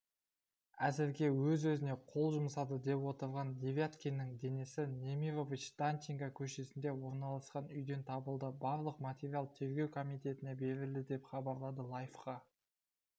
әзірге өз-өзіне қол жұмсады деп отырған девяткиннің денесі немирович-данченко көшесінде орналасқан үйден табылды барлық материал тергеу комитетіне берілді деп хабарлады лайфқа